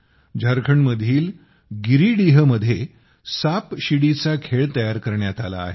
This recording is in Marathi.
झारखंडमधील गिरिडीहमध्ये सापशिडीचा खेळ तयार करण्यात आला आहे